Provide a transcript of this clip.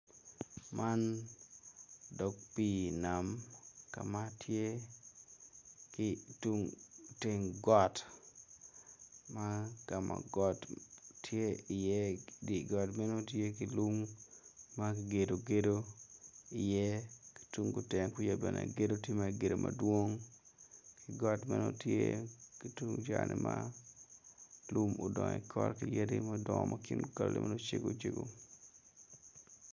Man dog pii nam ka ma tye ki tung teng got ma ka ma got tye iye dye got meno tye ki lung ma kigedo gedo iye tung kutenge kuca bene gedo tye ma kmigedo madwong got meno tye ki tung cani ma lum odongo i kore ma kingi okale macgo cego.